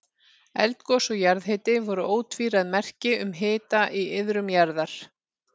Eldgos og jarðhiti voru ótvíræð merki um hita í iðrum jarðar.